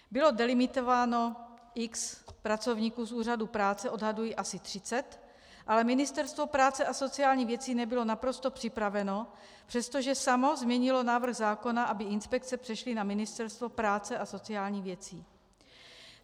Bylo delimitováno x pracovníků z Úřadu práce, odhaduji asi 30, ale Ministerstvo práce a sociálních věcí nebylo naprosto připraveno, přestože samo změnilo návrh zákona, aby inspekce přešly na Ministerstvo práce a sociálních věcí.